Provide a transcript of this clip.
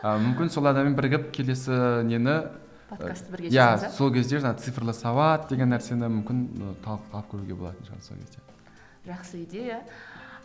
ал мүмкін сол адаммен бірігіп келесі нені иә сол кезде жаңа цифрлы сауат деген нәрсені мүмкін і талқылып көруге болатын шығар сол кезде жақсы идея